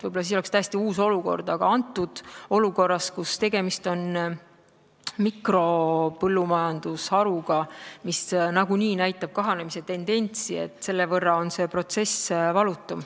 Võib-olla siis oleks täiesti teine olukord, aga antud olukorras, kus tegemist on mikropõllumajandusharuga, mis nagunii näitab kahanemistendentsi, on see protsess selle võrra valutum.